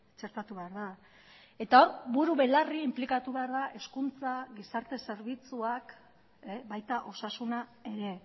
txertatu behar da eta hor burubelarri inplikatu behar da hezkuntza gizarte zerbitzuak baita osasuna ere